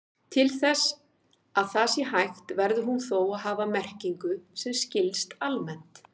Til þess að það sé hægt verður hún þó að hafa merkingu sem skilst almennt.